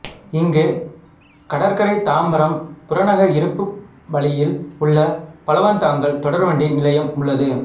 இங்கு கடற்கரைதாம்பரம் புறநகர் இருப்பு வழியில் உள்ள பழவந்தாங்கல் தொடர்வண்டி நிலையம் உள்ளது